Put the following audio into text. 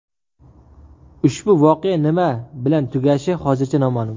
Ushbu voqea nima bilan tugashi hozircha noma’lum.